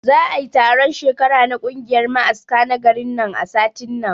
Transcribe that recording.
Za'ai taron shekara na kungiyar ma'aska na garin nan a satin nan